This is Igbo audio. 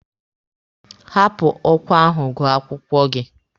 Hapụ ọkwa ahụ gụọ akwụkwọ gị!